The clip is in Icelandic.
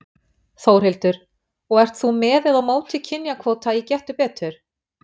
Þórhildur: Og ert þú með eða á móti kynjakvóta í Gettu betur?